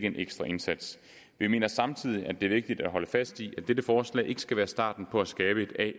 en ekstra indsats vi mener samtidig at det er vigtigt at holde fast i at dette forslag ikke skal være starten på at skabe et a